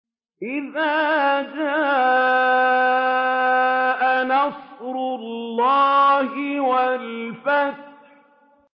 إِذَا جَاءَ نَصْرُ اللَّهِ وَالْفَتْحُ